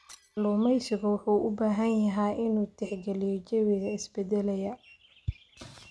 Kalluumeysigu wuxuu u baahan yahay inuu tixgeliyo jawiga isbeddelaya.